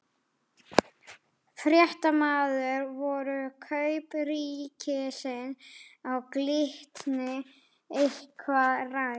Fréttamaður: Voru kaup ríkisins á Glitni eitthvað rædd?